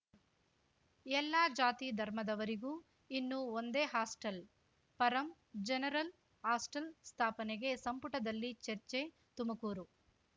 ಎಲ್ಲಾ ಜಾತಿ ಧರ್ಮದವರಿಗೂ ಇನ್ನು ಒಂದೇ ಹಾಸ್ಟೆಲ್‌ ಪರಂ ಜನರಲ್‌ ಹಾಸ್ಟೆಲ್‌ ಸ್ಥಾಪನೆಗೆ ಸಂಪುಟದಲ್ಲಿ ಚರ್ಚೆ ತುಮಕೂರು